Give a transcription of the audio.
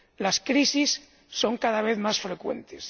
Las crisis son cada vez más frecuentes.